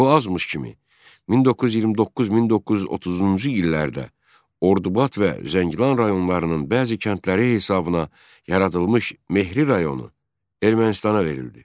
Bu azmış kimi 1929-1930-cu illərdə Ordubad və Zəngilan rayonlarının bəzi kəndləri hesabıbına yaradılmış Mehri rayonu Ermənistana verildi.